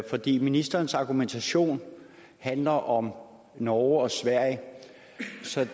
fordi ministerens argumentation handler om norge og sverige